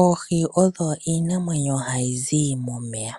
Oohi odho iinamwenyo hayi zi momeya.